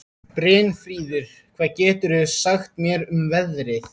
Brynfríður, hvað geturðu sagt mér um veðrið?